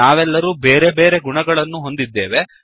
ನಾವೆಲ್ಲರೂ ಬೇರೆ ಬೇರೆ ಗುಣಗಳನ್ನು ಹೊಂದಿದ್ದೇವೆ